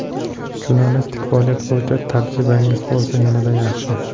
Jurnalistik faoliyat bo‘yicha tajribangiz bo‘lsa, yanada yaxshi!